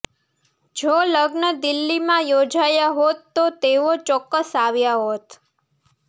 જો લગ્ન દિલ્હીમાં યોજાયા હોત તો તેઓ ચોક્કસ આવ્યા હોત